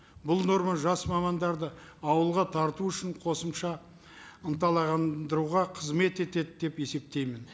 бұл норма жас мамандарды ауылға тарту үшін қосымша қызмет етеді деп есептеймін